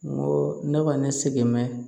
N go ne kɔni se bɛ